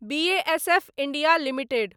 BASF India limited